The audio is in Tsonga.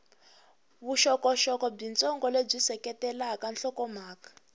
vuxokoxoko byitsongo lebyi seketelaka nhlokomhaka